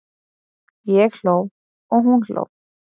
Ég hló og hún hló.